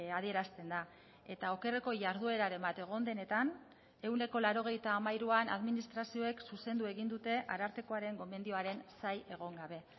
adierazten da eta okerreko jardueraren bat egon denetan ehuneko laurogeita hamairuan administrazioek zuzendu egin dute arartekoaren gomendioaren zain egon gabe